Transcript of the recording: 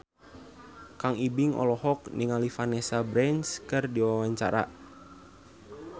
Kang Ibing olohok ningali Vanessa Branch keur diwawancara